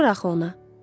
Yaraşmır axı ona.